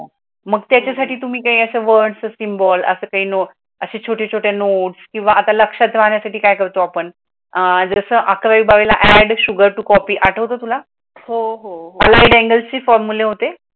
मग त्याच्यासाठी तुम्ही काय अस word, symbol असं काही नाही असे छोटे छोट नोट्स किंवा आता लक्षात राहण्यासाठी काय करतो आपण, अह जस अकरावी बारावीला add sugar to copy आठवतो तुला , allied angels चे फॉर्म्युला होते